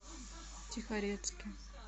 тихорецке